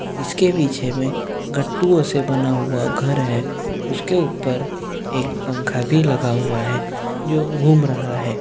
इसके पीछे में गटटूओ से बना हुआ घर है उसके ऊपर एक पंखा भी लगा हुआ है जो घूम रहा है।